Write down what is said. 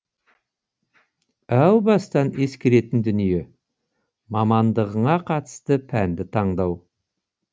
әу бастан ескеретін дүние мамандығыңа қатысты пәнді таңдау